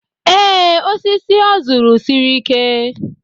Ee, osisi ọ zụrụ siri ike.